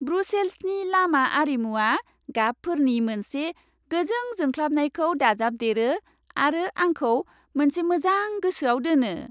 ब्रुसेल्सनि लामा आरिमुवा गाबफोरनि मोनसे गोजों जोंख्लाबनायखौ दाजाबदेरो आरो आंखौ मोनसे मोजां गोसोआव दोनो।